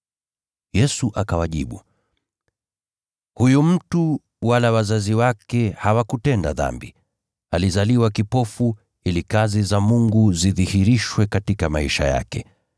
Yesu akawajibu, “Huyu mtu wala wazazi wake hawakutenda dhambi. Alizaliwa kipofu ili kazi za Mungu zidhihirishwe katika maisha yake.